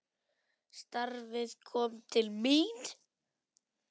Starfið kom til mín!